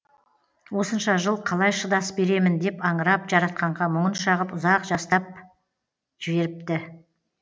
осынша жыл қалай шыдас беремін деп аңырап жаратқанға мұңын шағып ұзақ жастап жеріпті